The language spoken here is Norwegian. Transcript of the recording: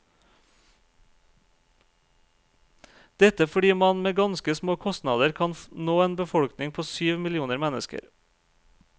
Dette fordi man med ganske små kostnader kan nå en befolkning på syv millioner mennesker.